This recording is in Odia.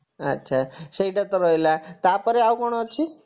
ଆଛା ସେଇଟା ତ ରହିଲା ତାପରେ ଆଉ କଣ ଅଛି